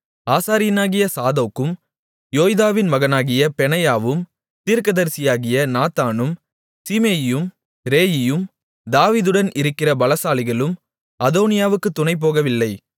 ஆசாரியனாகிய சாதோக்கும் யோய்தாவின் மகனாகிய பெனாயாவும் தீர்க்கதரிசியாகிய நாத்தானும் சீமேயியும் ரேயியும் தாவீதுடன் இருக்கிற பலசாலிகளும் அதோனியாவுக்கு துணைபோகவில்லை